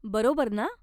बरोबर ना?